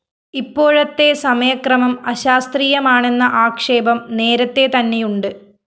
ഇപ്പോഴത്തെ സമയക്രമം അശാസ്ത്രീയമാണെന്ന ആക്ഷേപം നേരത്തെതന്നെയുണ്ട്